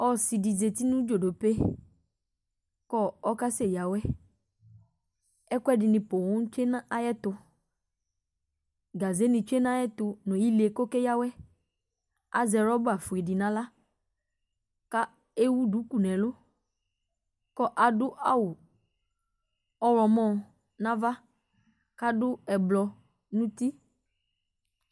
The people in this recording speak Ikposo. Ɔsidi zati nu dzo dop e ,kɔkase ya awɛ ɛkuɛdini poo tsue nu ayɛtu gaze ni tsue nayɛtu nu ile ku oke ya awɛ azɛ rɔba fue di naɣla ka ewu duku nɛlu ku adu awu ɔɣlɔmɔ nava kadu ublu nu uti